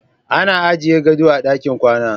Ana ajiye gado a ɗakin kwana.